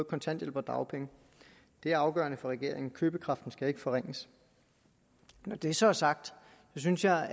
kontanthjælp og dagpenge det er afgørende for regeringen købekraften skal ikke forringes når det så er sagt synes jeg